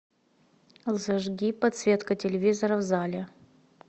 зажги подсветка телевизора в зале